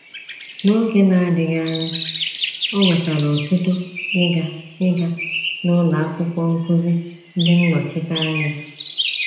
N’oge na-adịghị anya, o nwetara otuto ịga ịga na Ụlọ Akwụkwọ Nkuzi Ndịnọchiteanya.